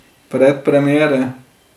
Predpremiere.